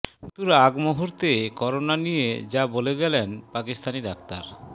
মৃত্যুর আগ মুহূর্তে করোনা নিয়ে যা বলে গেলেন পাকিস্তানি ডাক্তার